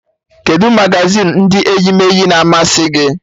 Kedụ magazin ndị eyimeeyi na-amasị gị?